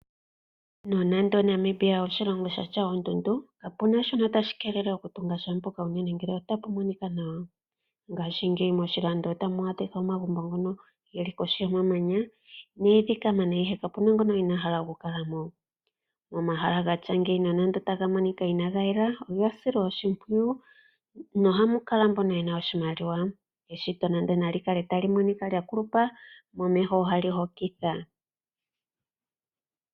Nonando Namibia oshilongo shi na oondundu kapu na shono tashi keelele okututunga sha mpoka unene ngele otapu monika nawa. Ngaashingeyi moshilando otamu adhika omagumbo ngono ge li kohi yomamanya nomwiidhi kamana, ihe kapu na ngono inaa hala okukala mo. Momahala gatya ngeyi nonando otaga monika inaaga yela, oga silwa oshimpwiyu nohamu kala mbono ye na oshimaliwa. Eshito nande nali kale tali monika lya kulupa momeho ohali hokitha.